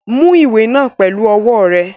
Mú ìwé náà pẹlu ọwọ́ rẹ!